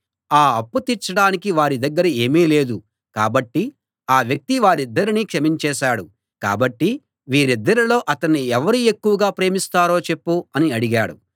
ఆ అప్పు తీర్చడానికి వారి దగ్గర ఏమీ లేదు కాబట్టి ఆ వ్యక్తి వారిద్దరినీ క్షమించేశాడు కాబట్టి వీరిద్దరిలో అతణ్ణి ఎవరు ఎక్కువగా ప్రేమిస్తారో చెప్పు అని అడిగాడు